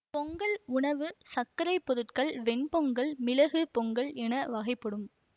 பொங்கல் உணவு சர்க்கரை பொருட்கள் வெண் பொங்கல் மிளகு பொங்கல் என வகைப்படும்